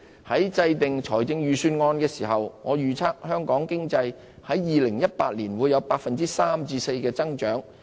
在制訂預算案時，我預測香港經濟2018年會有 3% 至 4% 的增長。